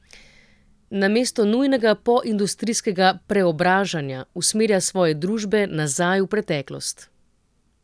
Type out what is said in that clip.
Namesto nujnega poindustrijskega preobražanja usmerja svoje družbe nazaj v preteklost.